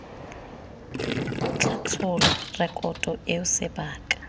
tla tshola rekoto eo sebaka